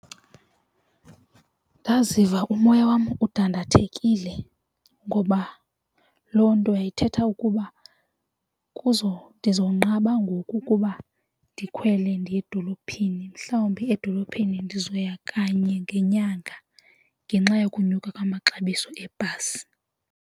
Ndaziva umoya wam udandathekile ngoba loo nto yayithetha ukuba kuzo ndiza kunqaba ngoku ukuba ndikhwele ndiya edolophini mhlawumbi edolophini ndizoya kanye ngenyanga ngenxa yokonyuka kwamaxabiso ebhasi.